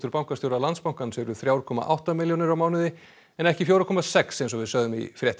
bankastjóra Landsbankans eru þrjú komma átta milljónir á mánuði en ekki fjögur komma sex milljónir eins og við sögðum í frétt